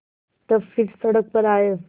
तब फिर सड़क पर आये